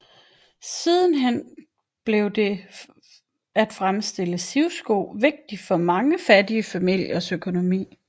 Sidenhen blev det at fremstille sivsko vigtigt for mange fattige familiers økonomi